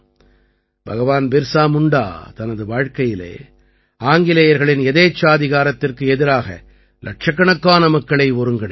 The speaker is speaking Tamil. பகவான் பிர்சா முண்டா தனது வாழ்க்கையிலே ஆங்கிலேயர்களின் யதேச்சாதிகாரத்திற்கு எதிராக இலட்சக்கணக்கான மக்களை ஒருங்கிணைத்தார்